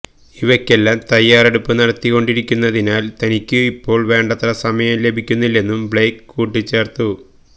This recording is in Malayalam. ഇവയ്ക്കെല്ലാം തയ്യാറെടുപ്പ് നടത്തിക്കൊണ്ടിരിക്കുന്നതിനാല് തനിക്കു ഇപ്പോള് വേണ്ടത്ര സമയം ലഭിക്കുന്നില്ലെന്നും ബ്ലെയ്ക്ക് കൂട്ടിച്ചേര്ത്തു